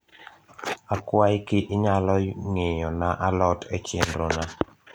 akwai ki nyalo ng`iyo na alot e chenro na